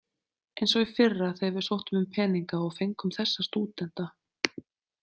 Eins og í fyrra þegar við sóttum um peninga og fengum þessa stúdenta.